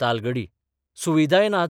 तालगडी सुविधाय नात.